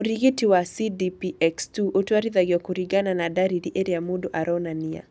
Ũrigitani wa CDPX2 ũtwarithagio kũringana na ndariri irĩa mũndũ aronania.